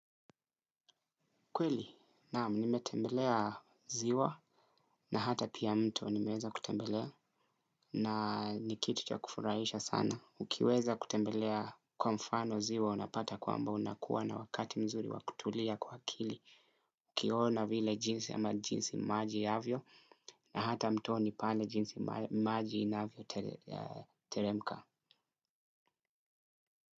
Kweli, naamu nimetembelea ziwa na hata pia mto nimeweza kutembelea na ni kitu cha kufurahisha sana. Ukiweza kutembelea kwa mfano ziwa unapata kwamba unakuwa na wakati mzuri wakutulia kwa akili. Ukiona vile jinsi ama jinsi maji yavyo na hata mtoni pale jinsi maji inavyoTeremka.